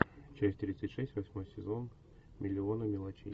часть тридцать шесть восьмой сезон миллионы мелочей